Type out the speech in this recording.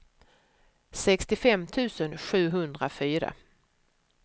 sextiofem tusen sjuhundrafyra